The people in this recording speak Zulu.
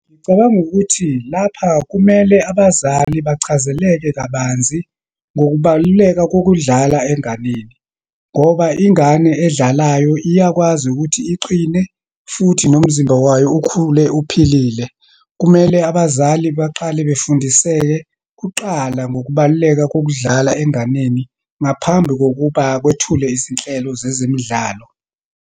Ngicabanga ukuthi lapha kumele abazali bachazeleke kabanzi ngokubaluleka kokudlala enganeni, ngoba ingane edlalayo iyakwazi ukuthi iqine futhi nomzimba wayo ukhule uphilile. Kumele abazali baqale befundiseke kuqala, ngokubaluleka kokudlala enganeni, ngaphambi kokuba kwethulwe izinhlelo zezemidlalo.